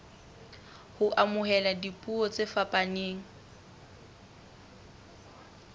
ho amohela dipuo tse fapaneng